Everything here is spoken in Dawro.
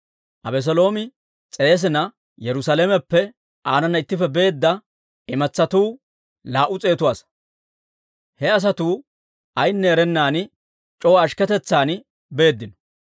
Abeseeloomi s'eesina, Yerusaalameppe aanana ittippe beedda imatsatuu laa"u s'eetu asaa; he asatuu ayinne erennan c'oo ashkketetsan beeddino.